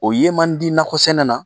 O ye man di nakɔsɛnɛ na